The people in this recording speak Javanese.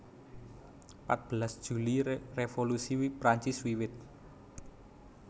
Patbelas Juli Revolusi Prancis wiwit